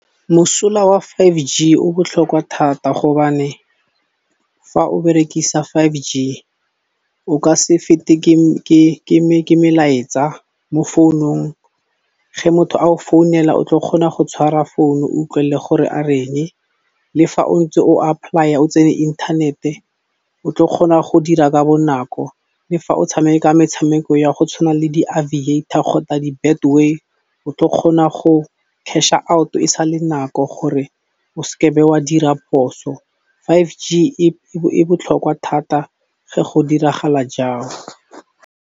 Mosola wa five G o botlhokwa thata gobane fa o berekisa five G o ka se fete ke melaetsa mo founong ge motho ao founela o tla kgona go tshwara phone o utlwelle gore a reng le fa o ntse o apply-a o tsene inthanete o tle o kgona go dira ka bonako le fa o tshameka metshameko ya go tshwana le di-Aviator kgotsa di-Betway o tla kgona go cash-a out e sa le nako gore o ske be wa dira phoso. five G e botlhokwa thata ge go diragala jang?